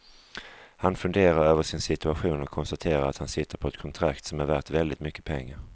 Han funderar över sin situation och konstaterar att han sitter på ett kontrakt som är värt väldigt mycket pengar.